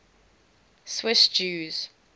swiss jews